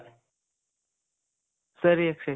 ಸರಿ ಅಕ್ಷಯ್.